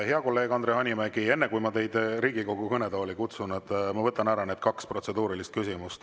Hea kolleeg Andre Hanimägi, enne kui ma teid Riigikogu kõnetooli kutsun, võtan ma kaks protseduurilist küsimust.